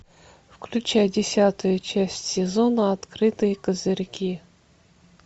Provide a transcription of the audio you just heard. включай десятую часть сезона открытые козырьки